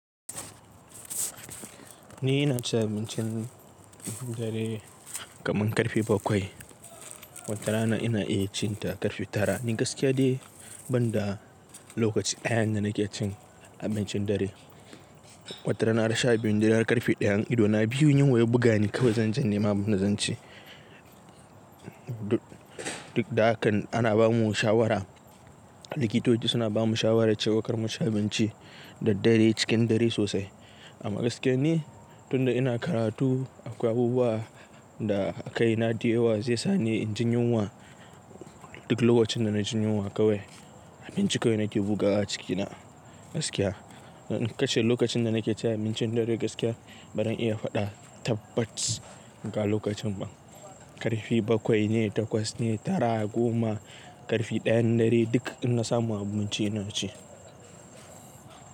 Ni ina cin abincin dare kamar ƙarfe bakwai. Wata rana ina iya cin ta ƙarfe tara. Wata rana ina iya cin ta ƙarfe tara. Wata rana har sha biyun dare har ƙarfe ɗayan ido na biyu yunwa ya buga ni kawai zan je in nema abunda zanci. Duk da hakan ana bamu shawara, likitoci suna bamu shawara cewar kar mu shi abinci da dare cikin dare sosai. Amma gaskiya ni tunda ina karatu akwai abubuwa da kaina dayawa zai sa ni jin yunwa. Duk lokacin da na jin yunwa kawai abinci kawai na ke bugawa cikina gaskiya. In kashe lokacin da na ke cin abincin dare gaskiya, ba zan iya faɗa tabbat ga lokacin ba. Ƙarfe bakwai ne, takwas ne, tara, goma, ƙarfe ɗayan dare duk ina samu abinci ina ci.